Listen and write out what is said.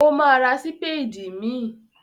Ó máa ra sípédì míì.